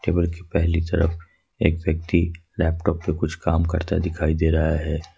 पहली तरफ एक व्यक्ति लैपटॉप पर कुछ काम करता दिखाई दे रहा है।